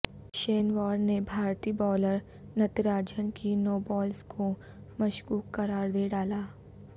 شین وارن نے بھارتی بائولر نتارجن کی نوبالز کو مشکوک قرار دے ڈالا